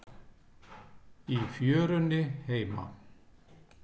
Í fjörunni heima.